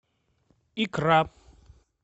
икра